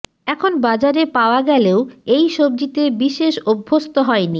এখন বাজারে পাওয়া গেলেও এই সব্জিতে বিশেষ অভ্যস্ত হয়নি